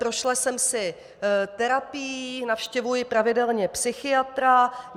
Prošla jsem si terapií, navštěvuji pravidelně psychiatra.